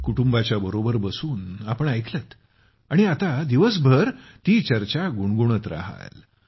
कुटुंबाच्या बरोबर बसून आपण ऐकलंत आणि आता दिवसभर ती चर्चा गुणगुणत रहाल